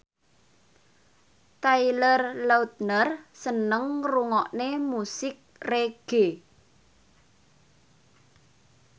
Taylor Lautner seneng ngrungokne musik reggae